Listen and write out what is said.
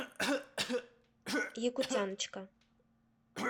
якутяночка